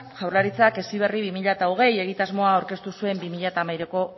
jaurlaritzak heziberri bi mila hogei egitasmoa aurkeztu zuen bi mila hamairuko